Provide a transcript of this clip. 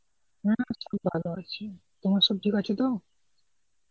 হ্যাঁ আছে ভালো আছে. তোমার সব ঠিক আছে তো?